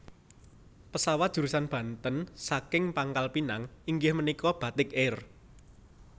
Pesawat jurusan Banten saking Pangkal Pinang inggih menika Batik Air